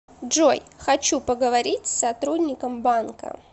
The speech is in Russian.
джой хочу поговорить с сотрудником банка